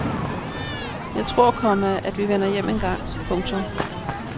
Jeg tror, komma at vi vender hjem en gang. punktum